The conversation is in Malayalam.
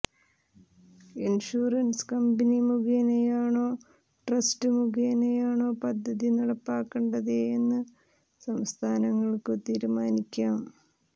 ഇൻഷുറൻസ് കമ്പനി മുഖേനയാണോ ട്രസ്റ്റ് മുഖേനയാണോ പദ്ധതി നടപ്പാക്കേണ്ടതെന്നു സംസ്ഥാനങ്ങൾക്കു തീരുമാനിക്കാം